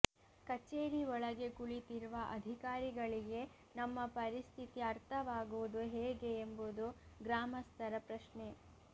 ಕಚೇರಿ ಒಳಗೆ ಕುಳಿತಿರುವ ಅಧಿಕಾರಿಗಳಿಗೆ ನಮ್ಮ ಪರಿಸ್ಥಿತಿ ಅರ್ಥವಾಗುವುದು ಹೇಗೆ ಎಂಬುದು ಗ್ರಾಮಸ್ಥರ ಪ್ರಶ್ನೆ